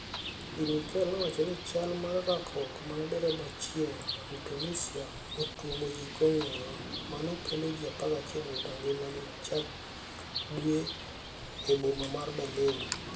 Bi Merkel, nowacho ni chal mar rakruok mane derebaachieng Mtunisia notuomo ji kong'eyo mano kelo ji 11 wito ngimagi chak dweni e boma mar Berlin.